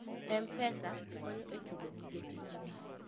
M-Pesa konyo e chulo gige tich.